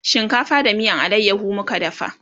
shinkafa da miyan alayaho muka dafa